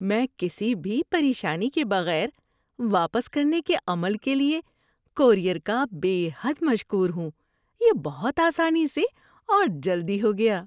میں کسی بھی پریشانی کے بغیر واپس کرنے کے عمل کے لیے کورئیر کا بے حد مشکور ہوں؛ یہ بہت آسانی سے اور جلدی ہو گیا۔